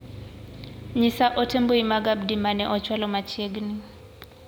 Nyisa ote mbui mag Abdi ma ne ochwalo machiegni.